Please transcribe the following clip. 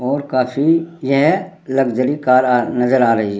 और काफी यह लक्सेरी कार नज़र आ रही है।